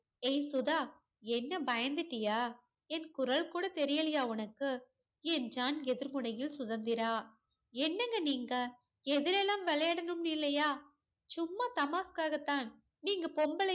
ஏய் சுதா என்ன பயந்துட்டியா என் குரல் கூட தெரியலையா உனக்கு என்றான் எதிர் முனையில் சுதந்திரா என்னங்க நீங்க எதுல எல்லாம் விளையாடனும்னு இல்லையா சும்மா தமாஷ்க்காகத்தான் நீங்க பொம்பலை